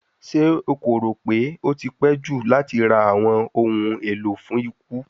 Ṣe o ko ro pe o ti pẹ ju lati ra awọn ohun elo fun iku?